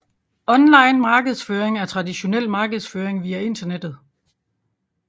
Online markedsføring er traditionel markedsføring via internettet